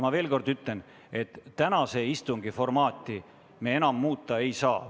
Ma veel kord ütlen, et tänase istungi formaati me enam muuta ei saa.